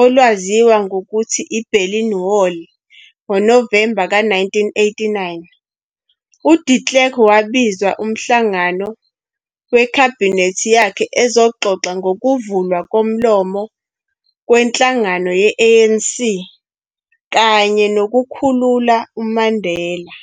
olwaziwa ngokuthi yi-Berlin Wall ngoNovemba ka-1989, u de Klerk wabizwa umhlangano wekhabhinethi yakhe ukuzoxoxa ngokuvulwa komlomo kwenhlangano ye-ANC kanye nokukhulula uMandela.